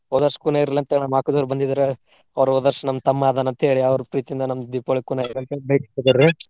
ಹೋದ ವರ್ಷ ಕೂನ ಇರ್ಲಿ ಅಂತ ಹೇಳಿ ನಮ್ಮ ಅಕ್ಕಂದಿರ್ ಬಂದಿದ್ರ, ಅವ್ರ ಹೋದ ವರ್ಷ ನಮ್ಮ ತಮ್ಮಾ ಅದಾನ ಅಂತ ಹೇಳಿ ಅವ್ರ ಪ್ರೀತಿಯಿಂದ ನಮ್ಗ ದೀಪಾವಳಿ ಕೂನ .